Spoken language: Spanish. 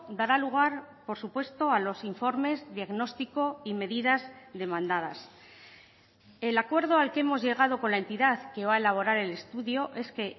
dará lugar por supuesto a los informes diagnóstico y medidas demandadas el acuerdo al que hemos llegado con la entidad que va a elaborar el estudio es que